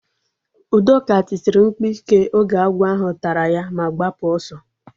Udoka tisiri mkpu ike oge agwọ ahụ tara ya ma gbapụ ọsọ